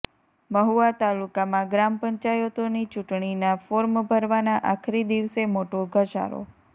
મહુવા તાલુકામાં ગ્રામ પંચાયતોની ચૂંટણીનાં ફોર્મ ભરવાના આખરી દિવસે મોટો ધસારો